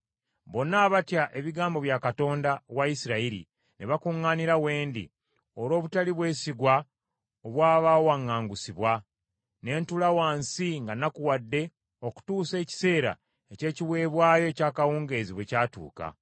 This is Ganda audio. Bonna abatya ebigambo bya Katonda wa Isirayiri ne bakuŋŋaanira we ndi, olw’obutali bwesigwa obw’abaawaŋŋangusibwa. Ne ntuula wansi nga nnakuwadde okutuusa ekiseera eky’ekiweebwayo eky’akawungeezi bwe kyatuuka.